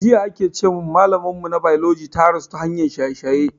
Jiya aka ce mun malamar mu na biology ta rasu ta hanyar shaye shaye